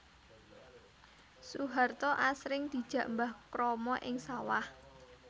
Soeharto asring dijak Mbah Kromo ing sawah